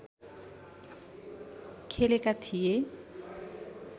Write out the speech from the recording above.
खेलेका थिए